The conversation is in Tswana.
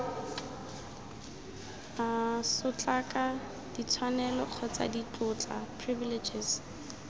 sotlaka ditshwanelo kgotsa ditlotla privileges